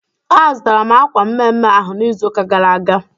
A zụtara m akwa mme mme ahụ n'izuka gara aga